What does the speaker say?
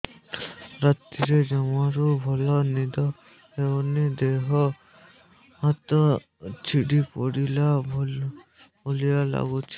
ରାତିରେ ଜମାରୁ ଭଲ ନିଦ ହଉନି ଦେହ ହାତ ଛିଡି ପଡିଲା ଭଳିଆ ଲାଗୁଚି